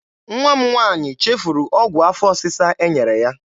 Nwa m nwaanyị chefuru ọgwụ afọ ọsịsa e nyere ya.